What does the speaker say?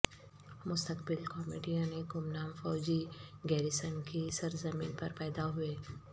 مستقبل کامیڈین ایک گمنام فوجی گیریژن کی سرزمین پر پیدا ہوئے